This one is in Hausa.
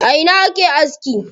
A ina ake aski?